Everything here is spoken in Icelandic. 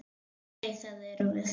Nei, það erum við.